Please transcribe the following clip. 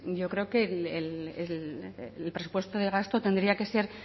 yo creo que el presupuesto de gasto tendría que ser